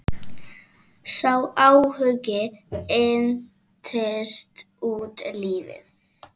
Sá áhugi entist út lífið.